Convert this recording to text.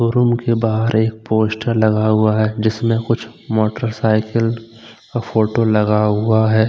Room के बाहर एक पोस्टर लगा हुआ है जिसमें कुछ मोटर साइकिल फोटों लगा हुआ हैं।